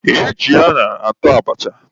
E ji añara ata abacha.